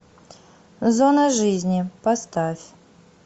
зона жизни поставь